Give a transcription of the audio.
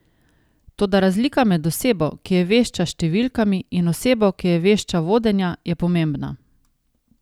Toda razlika med osebo, ki je vešča s številkami, in osebo, ki je vešča vodenja, je pomembna.